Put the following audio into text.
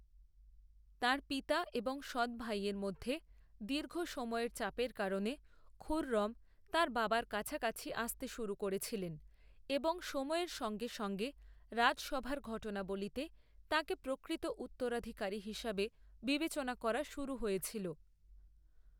তাঁর পিতা এবং সৎভাইয়ের মধ্যে দীর্ঘ সময়ের চাপের কারণে, খুররম তাঁর বাবার কাছাকাছি আসতে শুরু করেছিলেন এবং সময়ের সঙ্গে সঙ্গে রাজসভার ঘটনাবলীতে তাঁকে প্রকৃত উত্তরাধিকারী হিসাবে বিবেচনা করা শুরু হয়েছিল।